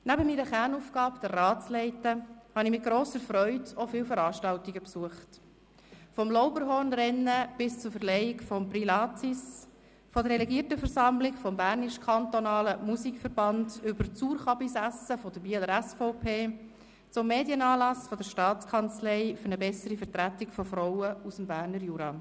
Neben meiner Kernaufgabe, den Rat zu leiten, habe ich mit grosser Freude auch viele Veranstaltungen besucht: vom Lauberhornrennen bis zur Verleihung des Prix Latsis, von der Delegiertenversammlung des Bernischen Kantonal-Musikverbands über das «Suurchabis»-Essen der Bieler SVP bis hin zum Medienanlass der Staatskanzlei für eine bessere Vertretung von Frauen aus dem Berner Jura.